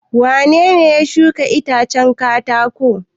Wane ne ya shuka itacen katako?